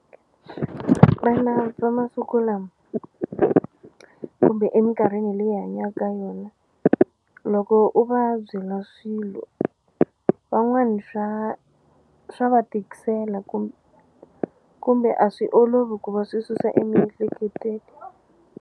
Vana va masiku lama kumbe eminkarhini leyi hi hanyaku ka yona loko u va byela swilo van'wani swa swa va tikisela kumbe a swi olovi ku va swi susa emiehleketweni.